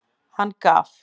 Hann gaf.